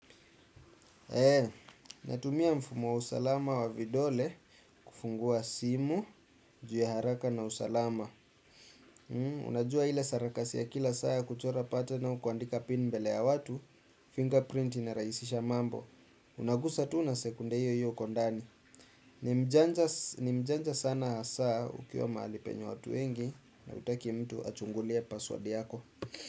Eeeh, natumia mfumo wa usalama wa vidole kufungua simu, juu ya haraka na usalama. Unajua hile sarakasi ya kila saa kuchora pattern au kuandika pin mbele ya watu, fingerprint inaraisisha mambo. Unagusa tuu na sekunde hiyo hiyo uko ndani. Nimjanja sana hasa ukiwa mahali penye watu wengi na hutaki mtu achungulie password yako.